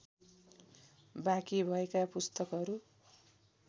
बाँकी भएका पुस्तकहरू